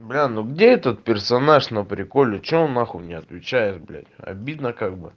бля ну где этот персонаж на приколе что он на хуй не отвечаешь блять обидно как бы